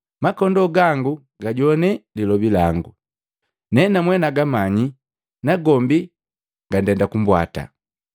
Makondoo gangu gajogwana lilobi lango. Nenamwe nagamanyi, nagombi gandenda kumbwata.